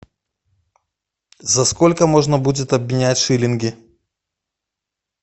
за сколько можно будет обменять шиллинги